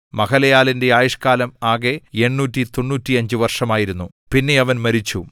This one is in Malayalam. മഹലലേലിന്റെ ആയുഷ്കാലം ആകെ 895 വർഷമായിരുന്നു പിന്നെ അവൻ മരിച്ചു